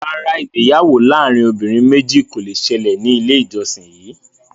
Rárá, ìgbéyàwó láàrin obìnrin méjì kò le ṣẹlẹ̀ ní ilé ìjósìn yìí